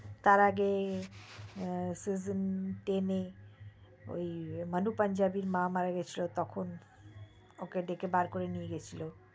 তার আগে season ten এ ওই মুনি পাঞ্জাবির মা মারা গিয়েছিলো তখন ওকে ডেকে বের করে নিয়ে গিয়েছিলো